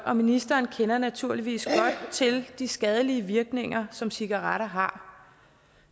og ministeren kender naturligvis godt til de skadelige virkninger som cigaretter har